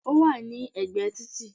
Ó wà ní ẹ̀gbẹ̀ títì